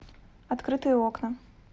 открытые окна